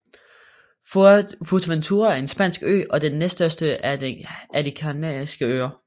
Fuerteventura er en spansk ø og den næststørste af de Kanariske Øer